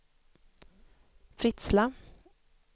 Fritsla